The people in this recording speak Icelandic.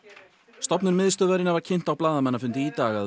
stofnun miðstöðvarinnar var kynnt á blaðamannafundi í dag að